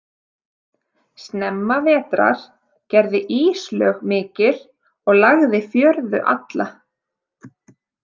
Snemma vetrar gerði íslög mikil og lagði fjörðu alla.